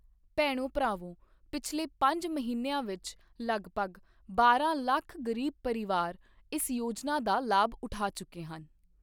ਭੈਣੋ ਭਰਾਵੋ, ਪਿਛਲੇ ਪੰਜ ਮਹੀਨਿਆਂ ਵਿੱਚ ਲਗਭਗ ਬਾਰਾਂ ਲੱਖ ਗ਼ਰੀਬ ਪਰਿਵਾਰ ਇਸ ਯੋਜਨਾ ਦਾ ਲਾਭ ਉਠਾ ਚੁੱਕੇ ਹਨ।